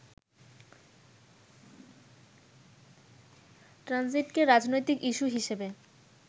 ট্রানজিটকে রাজনৈতিক ইস্যু হিসেবে